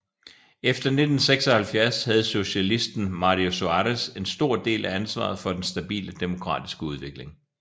Efter 1976 havde socialisten Mário Soares en stor del af ansvaret for den stabile demokratiske udvikling